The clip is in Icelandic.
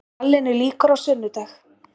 Rallinu lýkur á sunnudag